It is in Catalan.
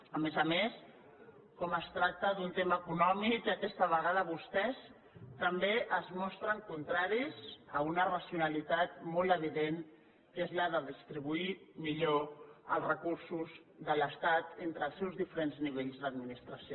a més a més com es tracta d’un tema econòmic aquesta vegada vostès també es mostren contraris a una racionalitat molt evident que és la de distribuir millor els recursos de l’estat entre els seus diferents nivells d’administració